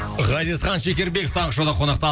ғазизхан шекербеков таңғы шоуда қонақта